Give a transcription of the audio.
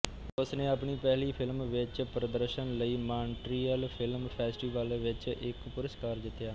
ਉਸ ਨੇ ਆਪਣੀ ਪਹਿਲੀ ਫ਼ਿਲਮ ਵਿੱਚ ਪ੍ਰਦਰਸ਼ਨ ਲਈ ਮਾਂਟਰੀਅਲ ਫਿਲਮ ਫੈਸਟੀਵਲ ਵਿੱਚ ਇੱਕ ਪੁਰਸਕਾਰ ਜਿੱਤਿਆ